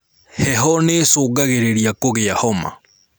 Heho nĩcungagĩrĩria kugĩa homa